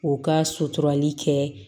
O ka suturali kɛ